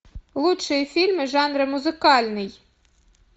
лучшие фильмы жанра музыкальный